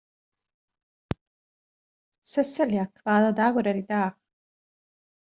Sesselja, hvaða dagur er í dag?